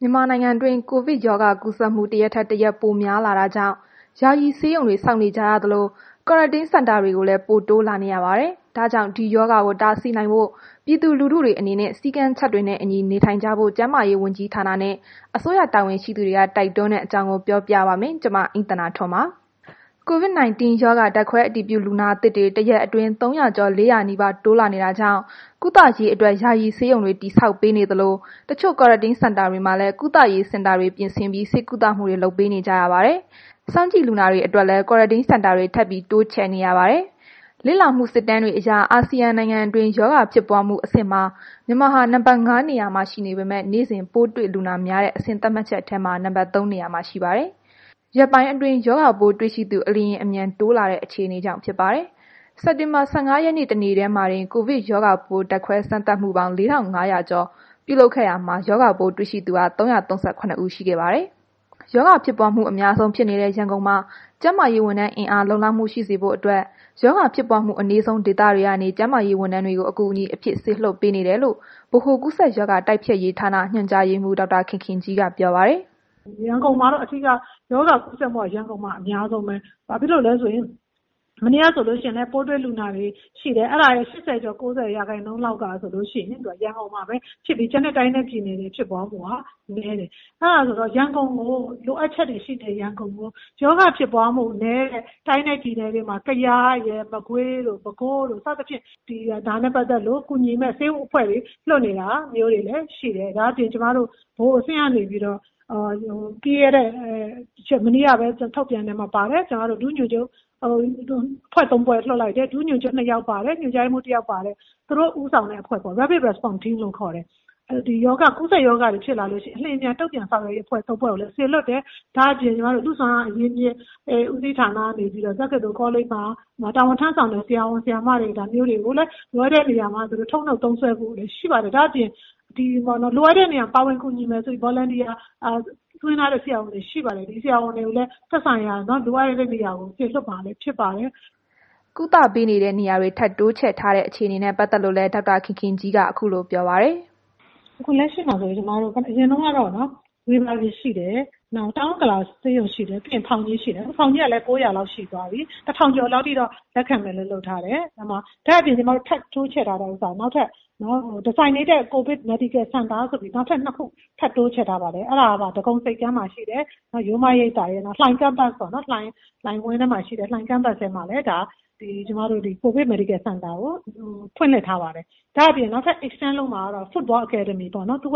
မြန်မာနိုင်ငံတွင်း ကိုဗစ်ရောဂါကူးစက်မှု တစ်ရက်ထက်၊ တစ်ရက်ပိုများလာတာကြောင့် ယာယီဆေးရုံတွေ ဆောက်နေကြရသလို Quarantine Center တွေလည်း ပိုတိုးလာနေရပါတယ်။ ဒါကြောင့် ဒီရောဂါကို တားဆီးနိုင်ဖို့ ပြည်သူလူထုတွေအနေနဲ့ စည်းကမ်းချက်တွေနဲ့ အညီ နေထိုင်ကြဖို့ ကျန်းမာရေးဝန်ကြီးဌာနနဲ့ အစိုးရ တာဝန်ရှိသူတွေက တိုက်တွန်းတဲ့ အကြောင်းကို ပြောပြပါမယ်။ ဗွီအိုအေမြန်မာပိုင်းသတင်းထောက် မအိမ့်သန္တာထွန်းက ပြောပြထားပါတယ်။ COVID 19 ရောဂါ ဓာတ်ခွဲအတည်ပြုလူနာသစ်တွေ တစ်ရက်အတွင်း ၃၀၀ ကျော်၊ ၄၀၀ နီးပါးတိုးလာနေတာကြောင့် ကုသရေးအတွက် ယာယီဆေးရုံတွေ တည်ဆောက်ပေးနေသလို တချို့ Quarantine Center တွေမှာလည်း ကုသရေး စင်တာတွေပြင်ဆင်ပြီး ဆေးကုသမှုတွေ လုပ်ပေးနေကြရပါတယ်။ စောင်ကြည့်လူနာတွေအတွက်လည်း Quarantine Center တွေ ထပ်တိုးချဲ့နေရပါတယ်။ လေ့လာမှုစစ်တမ်းတွေအရ အာဆီယံနိုင်ငံတွင်း ရောဂါဖြစ်ပွားမှု အဆင့်မှာ မြန်မာဟာ နံပါတ် ၅ နေရာမှာ ရှိနေပေမဲ့ နေ့စဉ် ပိုးတွေလူနာများတဲ့အဆင့် သတ်မှတ်ချက်ထဲမှာ နံပါတ် ၃ နေရာမှာ ရှိပါတယ်။ ရက်ပိုင်းအတွင်း ရောဂါပိုးတွေ့ရှိသူ အလျင်အမြန်တိုးများလာတဲ့ အခြေအနေကြောင့် ဖြစ်ပါတယ်။ စက်တင်ဘာ ၁၅ ရက်နေ့ တနေ့တည်းမှာတင် ကိုဗစ်ရောဂါပိုး ဓါတ်ခွဲစမ်းသပ်မှု ၄,၅၉၇ ခု ပြုလုပ်ခဲ့ရာမှာ၊ ရောဂါပိုးတွေ့သူ ၃၃၇ ဦး ရှိခဲ့ပါတယ်။ ရောဂါဖြစ်ပွားကူးစက်မှု အများဆုံးဖြစ်နေတဲ့ ရန်ကုန်မှာ ကျန်းမာရေးဝန်ထမ်းအင်အား လုံလောက်မှု ရှိစေဖို့အတွက် ရောဂါဖြစ်ပွားမှု အနည်းဆုံးဒေသတွေကနေ ကျန်းမာရေးဝန်ထမ်းတွေကို အကူအညီအဖြစ်စေလွှတ်ပေးနေတယ်လို့ ဗဟိုကူးစက်ရောဂါတိုက်ဖျက်ရေးဌာန ညွှန်ကြားရေးမှူး ဒေါက်တာ ခင်ခင်ကြီးက ပြောပါတယ်။ “ရန်ကုန်က ရောဂါကူးစက်မှု အဓိက အများဆုံးက ရန်ကုန်ပဲ။ မနေ့ကဆိုရင်လည်း ပိုးတွေ့လူနာတွေရဲ့ ၈၀ ကျော် ၉၀ ရာခိုင်နှုန်းလောက်သည် ရန်ကုန်မှာပဲဖြစ်ပြီး ကျန်တဲ့ တိုင်းနဲ့ပြည်နယ်တွေမှာ ဖြစ်ပွားနှုန်းက နည်းတယ်။ အဲ့ဒီတော့ လိုအပ်ချက်တွေ ရှိနေတဲ့ ရန်ကုန်ကို ရောဂါဖြစ်ပွားမှုနည်းတဲ့ တိုင်းနှင့်ပြည်နယ်တွေ ဥပမာ ကယားရယ်၊ မကွေးတို့ ပဲခူးတို့ စသည်ဖြင့် ဒါနဲ့ပတ်သက်လို့ ကူညီမဲ့ ဆေးအဖွဲ့တွေ လွှတ်နေတာမျိုးတွေ ရှိတယ်။ ဒါအပြင် ကျမတို့ ဗဟိုအဆင့်က နေပြီးတော့ မနေ့ကပဲ ထုတ်ပြန်တဲ့ အထဲမှာ ပါတယ်။ အဖွဲ့သုံးဖွဲ့လွှတ်လိုက်တယ်။ ဒုညွှန်ချုပ်တစ်ယောက်ပါတယ်၊ ညွှန်ကြားရေးမှူး တစ်ယောက်ပါတယ်။ သူတို့ဦးဆောင်တဲ့ အဖွဲ့ပေ့ါ၊ အရေးပေါ်တုံ့ပြန်ရေးအဖွဲ့လို့ ခေါ်တယ်။ ကူးစက် ရောဂါတွေဖြစ်လာရင် အလျင်အမြန် တုံ့ပြန်ဆောင်ရွက်ရေးအဖွဲ့ ၃ ဖွဲ့ကိုလည်း စေလွှတ်တယ်။ ဒါ့အပြင် လူ့စွမ်းအားအရင်းအမြစ်ဦးစီးဌာနက နေပြီးတော့ တက္ကသိုလ်ကောလိပ်မှာ တာဝန်ထမ်းဆောင်နေတဲ့ ဆရာဝန်၊ ဆရာမတွေကိုလည်း လိုအပ်တဲ့ နေရာတွေမှာ ထုတ်နုတ်သုံးစွဲဖို့ ရှိပါတယ်။ ဒါ့အပြင် လိုအပ်တဲ့နေရာတွေမှာ ကူညီဖို့ Volunteer စာရင်းသွင်းထားတဲ့ ဆရာဝန်တွေလည်း ရှိပါတယ်။ ဒီဆရာဝန်တွေကိုလည်း သက်ဆိုင်ရာ လိုအပ်တဲ့ နေရာတွေကို စေလွှတ်မှာဖြစ်ပါတယ်။” ကုသမှုပေးတဲ့ နေရာတွေထပ်တိုးချဲ့ထားတဲ့ အခြေအနေနဲ့ ပတ်သက်လို့လည်း ဒေါက်တာခင်ခင်ကြီး ခုလိုပြောပါတယ်။ “အခုလက်ရှိမှာဆိုရင် ကျမတို့ အရင်က ဝေဘာဂီရှိတယ်။ တောင်ဥက္ကလာဆေးရုံ ရှိတယ်၊ ဖောင်ကြီး ရှိတယ်။ ခုဖောင်ကြီးကလည်း ၉၀၀ လောက်ရှိသားပြီ။ ၁,၀၀၀ ကျော်လောက်ထိတော့ လက်ခံမယ်လို့ လုပ်ထားတယ်။ ဒါ့အပြင် ကျမတို့ ထပ်တိုးချဲ့ထားတာ နောက်ထပ် ၂ ခုထပ်တိုးချဲ့ထားပါတယ်။ အဲ့ဒါကတော့ ဒဂုံဆိပ်ကမ်းမှာရှိတဲ့ ရိုးရိပ်သာရယ်၊ နောက် လှိုင် မှာလည်း COVID Medical Center ကိုလည်း ဖွင့်လှစ်ထားပါတယ်။ အဲ့ဒါအပြင် နောက်ထပ်တစ်ခုကတော့ သုဝ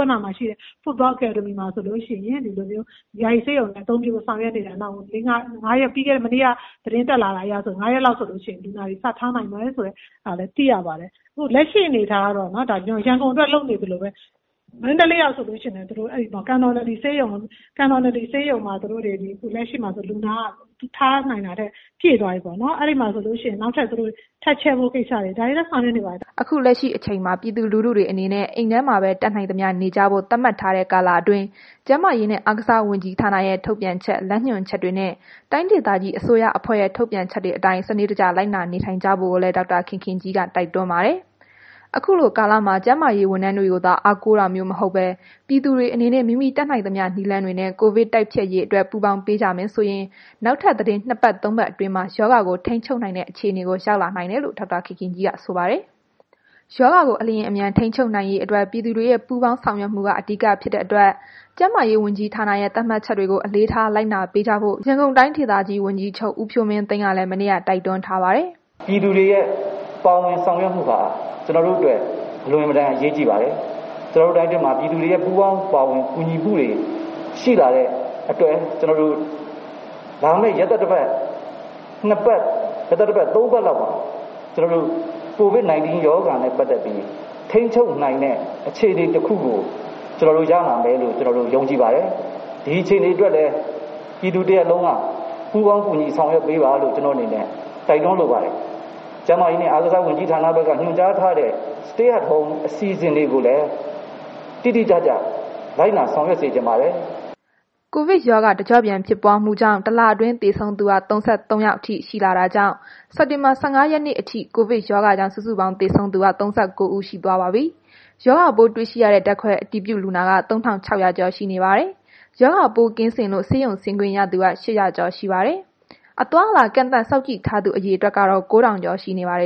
ဏ္ဏမှာရှိတဲ့ ဘောလုံး အကယ်ဒမီမှာ ဆိုလို့ရှိရင် ယာယီဆေးရုံအသုံးပြုဖို့ ဆောင်ရွက်နေတယ်။ မနေ့က သတင်းတက်လာ တာအရဆိုရင် နောက် ၅ ရက်လောက် ဆိုလို့ရှိရင် လူနာတွေ စထားနိုင်မယ်ဆိုတာလည်း သိရပါတယ်။ လက်ရှိမှာဆိုရင် ရန်ကုန်အတွက် လုပ်နေသလိုပဲ မန္တလေးမှာလည်း ကန်တော်နဒီဆေးရုံမှာ လူနာက ထားနိုင်တာထက်ပြည့်သွားပြီပေါ့နှော်။ အဲ့မှာလည်း သူတို့ နောက်ထပ်ချဲ့ဖို့ ကိစ္စတွေ သူတို့ ဆောင်ရွက်နေပါတယ်။” ခုလက်ရှိအချိန်မှာ ပြည်သူလူထုတွေ အနေနဲ့ အိမ်ထဲမှာပဲ တတ်နိုင်သမျှနေကြဖို့ သတ်မှတ်ထားတဲ့ ကာလအတွင်း ကျန်းမာရေးနှင့် အားကစားဝန်ကြီးဌာနရဲ့ ထုတ်ပြန်ချက်၊ လမ်းညွှန်ချက်တွေနှင့် တိုင်းဒေသကြီးအစိုးရအဖွဲ့ရဲ့ ထုတ်ပြန်ချက်တွေအတိုင်း စနစ်တကျ လိုက်နာနေထိုင်ကြဖို့ကိုလည်း ဒေါက်တာခင်ခင်ကြီးက တိုက်တွန်းပါတယ်။ အခုလိုကာလမှာ ကျန်းမာရေးဝန်ထမ်းတွေကိုသာ အားကိုးတာမျိုး မဟုတ်ဘဲ ပြည်သူတွေ အနေနဲ့ မိမိတတ်နိုင်သမျှ နည်းလမ်းတွေနဲ့ ကိုဗစ်တိုက်ဖျက်ရေးအတွက် ပူးပေါင်းပေးကြမယ်ဆိုရင် နောက်ထပ် သီတင်းနှစ်ပတ်၊ သုံးပတ်အတွင်းမှာ ရောဂါကို ထိန်းချုပ်နိုင်တဲ့ အခြေအနေကိုရောက်လာနိုင်တယ်လို့ ဒေါက်တာခင်ခင်ကြီးက ဆိုပါတယ်။ ရောဂါကို အလျင်အမြန် ထိန်းချုပ်နိုင်ရေးအတွက် ပြည်သူတွေရဲ့ ပူးပေါင်းဆောင်ရွက်မှုက အဓိကဖြစ်တဲ့အတွက် ကျန်းမာရေးဝန်ကြီးဌာနရဲ့ သတ်မှတ်ချက်တွေကို အလေးထားလိုက်နာပေးကြဖို့ ရန်ကုန်တိုင်းဝန်ကြီးချုပ် ဦးဖြိုးမင်းသိန်းကလည်း မနေ့ကတိုက်တွန်းထားပါတယ်။ “ပြည်သူတွေရဲ့ ပူးပေါင်းဆောင်ရွက်မှုဟာ ကျနော်တို့ အတွက် အလွန်အင်မတန်အရေးကြီးပါတယ်။ ကျနော်တို့ တိုင်းအတွင်းမှာ ပြည်သူတွေရဲ့ ပူးပေါင်းပါဝင်မှုရှိလာတဲ့အတွက် ကျနော်တို့ လာမယ့် ရက်သတ္တပတ် ၂ ပတ်၊ ၃ ပတ်လောက်အတွင်းမှာ COVID 19 ရောဂါနဲ့ပတ်သက်ပြီး ထိန်းချုပ်နိုင်တဲ့ အခြေအနေတစ်ခုကို ရောက်လာမယ်လို့ ကျနော်တို့ ယုံကြည်ပါတယ်။ ဒီအခြေအနေအတွက်လည်း ပြည်သူတစ်ရပ်လုံးက ပူးပေါင်းပြီး ဆောင်ရွက်ပေးပါလို့ ကျနော့်အနေနဲ့ တိုက်တွန်းလိုပါတယ်။ ကျန်းမာရေးနှင့် အားကစားဝန်ကြီးဌာနက ထုတ်ပြန်ထားတဲ့ Stay at Home အစီအစဉ်တွေကိုလည်း တိတိကျကျ လိုက်နာဆောင်ရွက်ပေးစေချင်ပါတယ်။” ကိုဗစ်ရောဂါ တစ်ကျော့ပြန်ဖြစ်ပွားမှုကြောင့် တစ်လတွင်း သေဆုံးသူက ၃၃ ယောက်အထိရှိတာကြောင့်၊ စက်တင်ဘာ ၁၅ ရက်နေ့အထိ ကိုဗစ်ရောဂါကြောင့် စုစုပေါင်း သေဆုံးသူ ၃၉ ဦး ရှိသွားပါပြီ။ ရောဂါပိုးတွေ့ရှိရတဲ့ ဓာတ်ခွဲအတည်ပြုလူနာက ၃,၆၀၀ ကျော်ရှိနေပါတယ်။ ရောဂါပိုးကင်းစင်လို့ ဆေးရုံဆင်းခွင့်ရသူက ၈၀၀ ကျော်ရှိပါတယ်။ အသွားအလာကန့်သတ်စောင့်ကြည့်ထားသူ အရေအတွက်က ၉,၀၀၀ ကျော်ရှိပါတယ်